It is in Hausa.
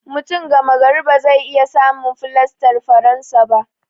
Mutum gama gari ba zai iya samun fulastar faransa ba.